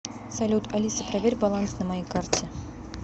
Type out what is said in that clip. салют алиса проверь баланс на моей карте